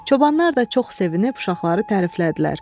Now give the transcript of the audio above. Çobanlar da çox sevinib uşaqları təriflədilər.